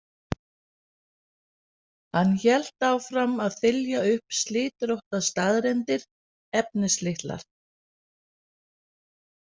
Hann hélt áfram að þylja upp slitróttar staðreyndir, efnislitlar.